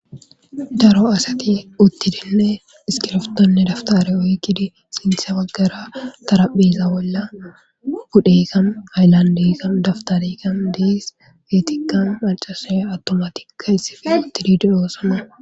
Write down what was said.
daro asati uttidinne iskirftonne daftare oygidi sintha baggara tarapheza bolla budhekan hayllandeekan daftarekan dees geetikan macase awtomatikka issif uttididiroosana